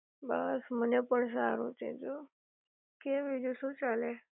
બસ મને પણ સારું છે જો, કે બીજું શું ચાલે?